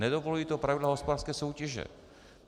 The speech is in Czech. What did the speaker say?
Nedovolují to pravidla hospodářské soutěže.